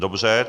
Dobře.